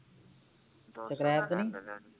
ਤੇ ਨੀ